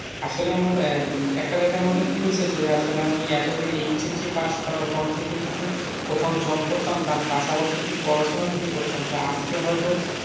আসলে আমার একটা জায়গার মধ্যে ভুল হয়েছে আসলে আমি এতদিন HSc পাস করার পর থেকে যদি কোথাও job করতাম তার পাশাপাশি যদি পড়াশোনাও করতাম তো আজকে যে হয়তো,